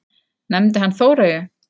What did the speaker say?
Nefndi hann Þóreyju?